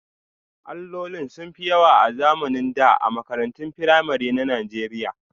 Allolin sun fi yawa a zamanin da a makarantun firamare na Najeriya